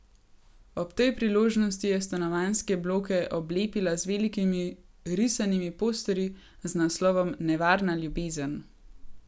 Ob tej priložnosti je stanovanjske bloke oblepila z velikimi risanimi posterji z naslovom Nevarna ljubezen.